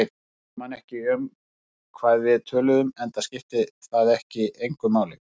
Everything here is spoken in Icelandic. Ég man ekki um hvað við töluðum, enda skipti það engu máli.